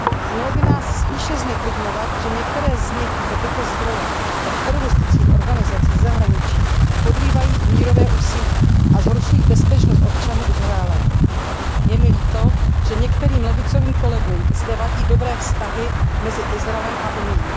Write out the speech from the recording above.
Mělo by nás spíše zneklidňovat, že některé z nich za tyto zdroje od teroristických organizací ze zahraničí podrývají mírové úsilí a zhoršují bezpečnost občanů Izraele. Je mi líto, že některým levicovým kolegům zde vadí dobré vztahy mezi Izraelem a Unií.